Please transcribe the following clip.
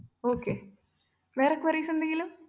okay വേറെ querries എന്തെങ്കിലും?